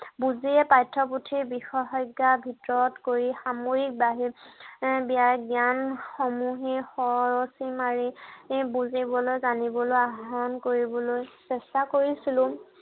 বুজিয়েই পাঠ্য় পুথিৰ বিশেষজ্ঞা ভিতৰত কৰি সাময়িক জ্ঞান সমূহ খৰচি মাাৰি বুজিবলৈ, জানিবলৈ আহৰণ কৰিবলৈ চেষ্টা কৰিছিলো।